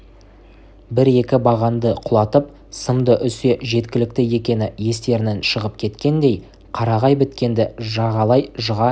де бір-екі бағанды құлатып сымды үзсе жеткілікті екені естерінен шығып кеткендей қарағай біткенді жағалай жыға